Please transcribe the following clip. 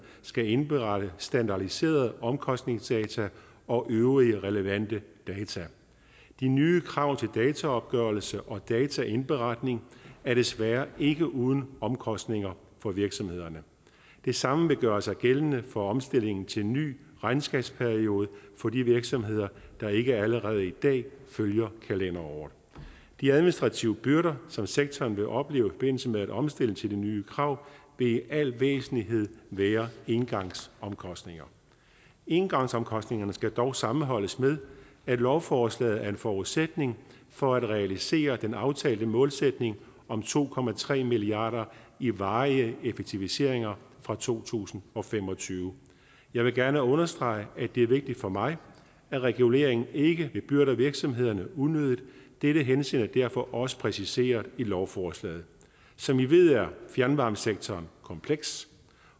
skal indberette standardiserede omkostningsdata og øvrige relevante data de nye krav til dataopgørelse og dataindberetning er desværre ikke uden omkostninger for virksomhederne det samme vil gøre sig gældende for omstillingen til ny regnskabsperiode for de virksomheder der ikke allerede i dag følger kalenderåret de administrative byrder som sektoren vil opleve i forbindelse med at omstille til de nye krav vil i al væsentlighed være engangsomkostninger engangsomkostningerne skal dog sammenholdes med at lovforslaget er en forudsætning for at realisere den aftalte målsætning om to milliard i varige effektiviseringer fra to tusind og fem og tyve jeg vil gerne understrege at det er vigtigt for mig at reguleringen ikke bebyrder virksomhederne unødigt dette henser jeg derfor også til præciseres i lovforslaget som i ved er fjernvarmesektoren kompleks